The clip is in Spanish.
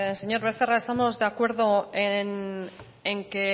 señor becerra estamos de acuerdo en que